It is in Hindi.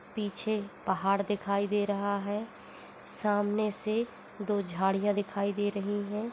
पीछे पहाड़ दिखाई दे रहा है सामने से दो झाड़ियां दिखाई दे रही हैं।